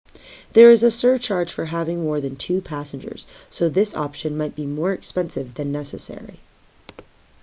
there is a surcharge for having more than 2 passengers so this option might be more expensive than necessary